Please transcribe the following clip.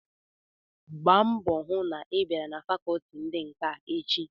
Gbaa mbọ hụ na ị biara na fakọọti ndi nka echi!